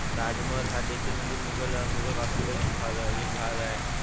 ताजमहाल हा देखील म्हणजे मोगल मोगल वास्तव्यात भागा एक भाग आहे.